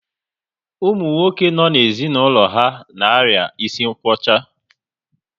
Ụmụ nwoke no n'ezinaulo ha na-aria isi nkwocha